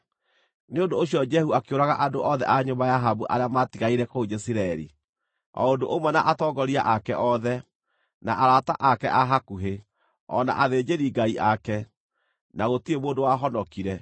Nĩ ũndũ ũcio Jehu akĩũraga andũ othe a nyũmba ya Ahabu arĩa maatigaire kũu Jezireeli, o ũndũ ũmwe na atongoria ake othe, na arata ake a hakuhĩ, o na athĩnjĩri-ngai ake, na gũtirĩ mũndũ wahonokire.